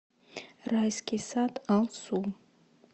райский сад алсу